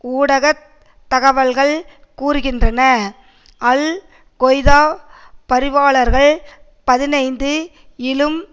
ஊடக தகவல்கள் கூறுகின்றன அல் கொய்தா பரிவாளர்கள் பதினைந்து இலும்